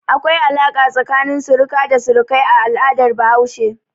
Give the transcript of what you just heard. Akwai alaƙa tsakanin suruki da surukai a al'adar Bahaushe.